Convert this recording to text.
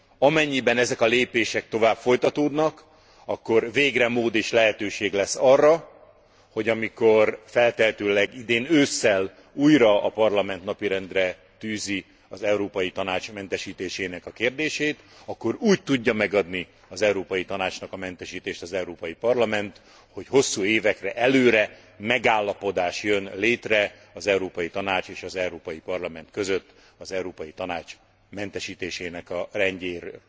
Amennyiben ezek a lépések tovább folytatódnak, akkor végre mód és lehetőség lesz arra, hogy amikor feltehetőleg idén ősszel újra a Parlament napirendre tűzi az Európai Tanács mentesítésének a kérdését, akkor úgy tudja megadni az Európai Tanácsnak a mentesítést az Európai Parlament, hogy hosszú évekre előre megállapodás jön létre az Európai Tanács és az Európai Parlament között az Európai Tanács mentesítésének a rendjéről.